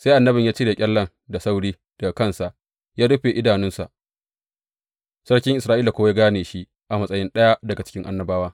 Sai annabin ya cire ƙyallen da sauri daga kansa, da ya rufe idanunsa, sarkin Isra’ila kuwa ya gane shi a matsayi ɗaya daga cikin annabawa.